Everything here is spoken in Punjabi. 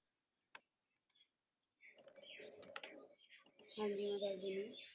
ਹਾਂਜੀ ਮੈਂ ਦੱਸ ਦੇਣੀ ਆ